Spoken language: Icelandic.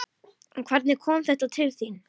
En hvernig kom þetta til?